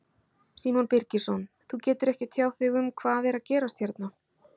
Símon Birgisson: Þú getur ekki tjáð þig um hvað er að gerast hérna?